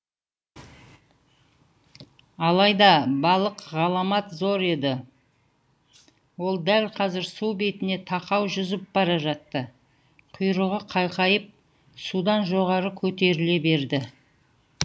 алайда балық ғаламат зор еді ол дәл қазір су бетіне тақау жүзіп бара жатты құйрығы қайқайып судан жоғары көтеріле берді